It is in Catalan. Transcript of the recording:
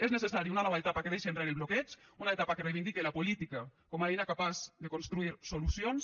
és necessària una nova etapa que deixi enrere el bloqueig una etapa que reivindique la política com a eina capaç de construir solucions